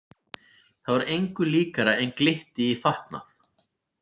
Það var engu líkara en glytti í fatnað.